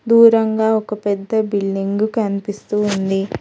దూరంగా ఒక పెద్ద బిల్డింగు కనిపిస్తూ ఉంది.